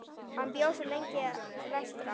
Hann bjó svo lengi vestra.